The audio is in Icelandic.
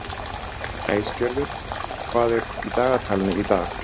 Æsgerður, hvað er í dagatalinu í dag?